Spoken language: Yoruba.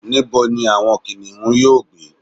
níbo ni àwọn kìnìún yíò gbé